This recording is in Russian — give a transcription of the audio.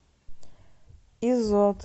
изот